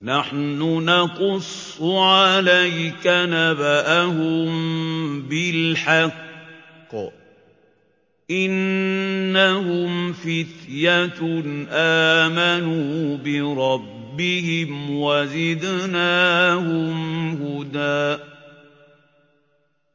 نَّحْنُ نَقُصُّ عَلَيْكَ نَبَأَهُم بِالْحَقِّ ۚ إِنَّهُمْ فِتْيَةٌ آمَنُوا بِرَبِّهِمْ وَزِدْنَاهُمْ هُدًى